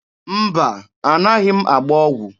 Mba, anaghị m agba ọgwụ.